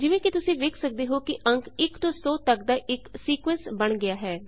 ਜਿਵੇਂ ਕਿ ਤੁਸੀਂ ਵੇਖ ਸਕਦੇ ਹੋ ਅੰਕ 1 ਤੋਂ 100 ਤੱਕ ਦਾ ਇੱਕ ਸੀਕੁਏਂਸ ਬਣ ਗਿਆ ਹੈ